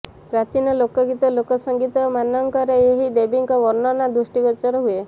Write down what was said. ପ୍ରାଚୀନ ଲୋକଗୀତ ଲୋକସଂଗୀତ ମାନଙ୍କରେ ଏହି ଦେବୀଙ୍କ ବର୍ଣନା ଦୃଷ୍ଟିଗୋଚର ହୁଏ